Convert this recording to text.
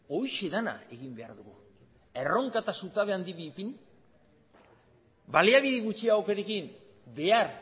horixe dena egin behar dugu erronka eta zutabe handi bi ipini baliabide gutxiagorekin behar